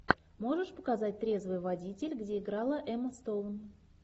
можешь показать трезвый водитель где играла эмма стоун